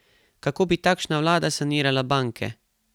Kako bi takšna vlada sanirala banke?